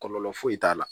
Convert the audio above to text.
Kɔlɔlɔ foyi t'a la